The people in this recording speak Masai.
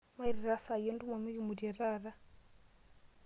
Mairita saai entumo mikimutie taata.